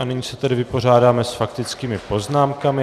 A nyní se tedy vypořádáme s faktickými poznámkami.